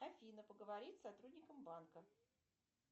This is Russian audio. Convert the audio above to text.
афина поговорить с сотрудником банка